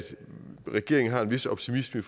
regeringen har en vis optimisme